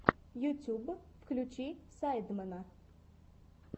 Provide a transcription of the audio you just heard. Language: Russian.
ютьюб включи сайдмена